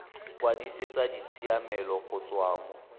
kwadisetsa ditshiamelo go tswa mo